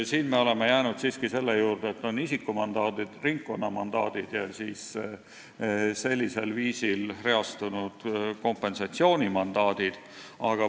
Siin me oleme jäänud siiski selle juurde, et on isikumandaadid, ringkonnamandaadid ja meie väljapakutud viisil reastatud kompensatsioonimandaadid.